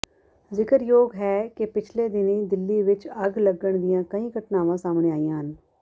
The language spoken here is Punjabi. ਜ਼ਿਕਰਯੋਗ ਹੈ ਕਿ ਪਿਛਲੇ ਦਿਨੀਂ ਦਿੱਲੀ ਵਿੱਚ ਅੱਗ ਲੱਗਣ ਦੀਆਂ ਕਈ ਘਟਨਾਵਾਂ ਸਾਹਮਣੇ ਆਈਆਂ ਹਨ